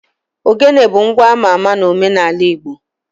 Ogene bụ ngwa ama ama n'omenala Igbo